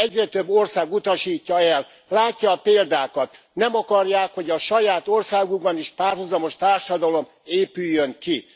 Egyre több ország utasítja el, látja a példákat, nem akarják, hogy a saját országukban is párhuzamos társadalom épüljön ki.